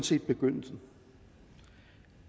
set begyndelsen